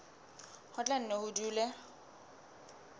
ho tla nne ho dule